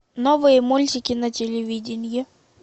новые мультики на телевидении